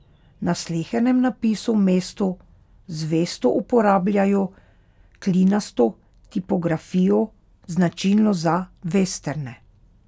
Na slehernem napisu v mestu zvesto uporabljajo klinasto tipografijo, značilno za vesterne.